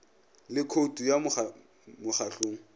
le khoutu ya mo mokgahlong